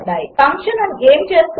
function ఏమి చేస్తుంది